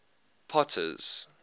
potter's